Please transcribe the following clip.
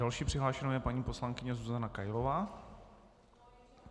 Další přihlášenou je paní poslankyně Zuzana Kailová.